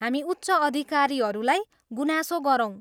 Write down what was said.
हामी उच्च अधिकारीहरूलाई गुनासो गरौँ।